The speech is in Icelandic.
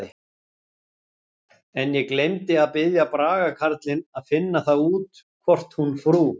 En ég gleymdi að biðja Braga karlinn að finna það út hvort hún frú